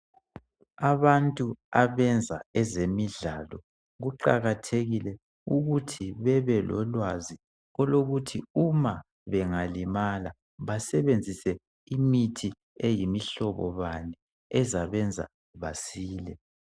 Abantu abenza ezemidlalo kuqakathekile ukuthi bebelolwazi. olokuthi uma bengalimala basebenzise imithi eyimihlobo bani ukuze basile.